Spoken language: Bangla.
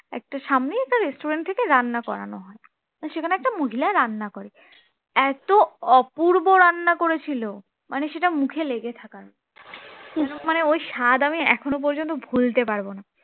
একটা সামনেই একটা restaurant থেকে রান্না করানো, তা সেখানে একটা মহিলা রান্না করে এত অপূর্ব রান্না করেছিল মানে সেটা মুখে লেগে থাকার মত কিন্তু মানে ওই স্বাদ আমি এখনো পর্যন্ত ভুলতে পারব না